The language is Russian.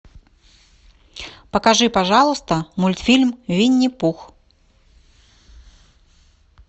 покажи пожалуйста мультфильм винни пух